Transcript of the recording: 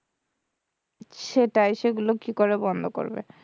সেটাই সেগুলো কি করে বন্ধ করবে?